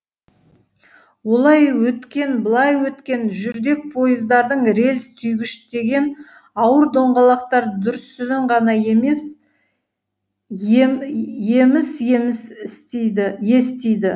олай өткен былай өткен жүрдек пойыздардың рельс түйгіштеген ауыр доңғалақтар дүрсілін ғана еміс еміс естиді